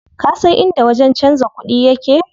Kasan inda wajen canza kuɗi yake?